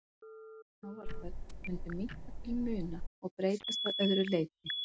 Sjávarföll mundu minnka til muna og breytast að öðru leyti.